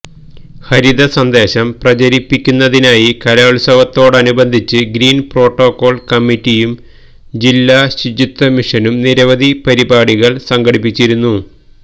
ഹരിത സന്ദേശം പ്രചരിപ്പിക്കുന്നതിനായി കലോത്സവത്തോടനുബന്ധിച്ച് ഗ്രീന് പ്രോട്ടോക്കോള് കമ്മറ്റിയും ജില്ലാ ശുചിത്വമിഷനും നിരവധി പരിപാടികള് സംഘടിപ്പിച്ചിരുന്നു